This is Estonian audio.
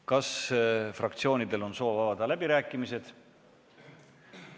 Kas fraktsioonidel on soov avada läbirääkimised?